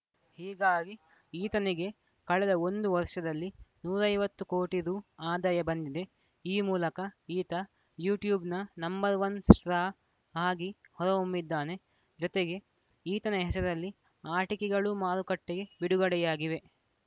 ಹೀಗಾಗಿ ಈತನಿಗೆ ಕಳೆದ ಒಂದು ವರ್ಷದಲ್ಲಿ ನೂರ ಐವತ್ತು ಕೋಟಿ ರು ಆದಾಯ ಬಂದಿದೆ ಈ ಮೂಲಕ ಈತ ಯುಟ್ಯೂಬ್‌ನ ನಂಬರ್ ಒನ್ ಸ್ಟ್ರಾ ಆಗಿ ಹೊರಹೊಮ್ಮಿದ್ದಾನೆ ಜೊತೆಗೆ ಈತನ ಹೆಸರಲ್ಲಿ ಆಟಿಕೆಗಳೂ ಮಾರುಕಟ್ಟೆಗೆ ಬಿಡುಗಡೆಯಾಗಿವೆ